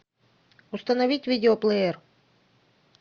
установить видеоплеер